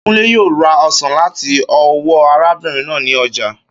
Kúnlé yóò ra osàn láti ọ́wọ́ arábin náà ni ojà.